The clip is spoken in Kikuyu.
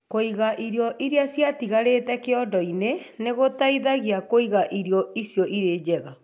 Kũiga irio iria ciatigarĩte kĩondo-inĩ nĩ gũteithagia kũiga irio icio irĩ njega.